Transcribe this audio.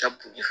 Zan b'o ye